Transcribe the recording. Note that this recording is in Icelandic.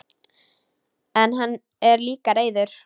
En hann er líka reiður.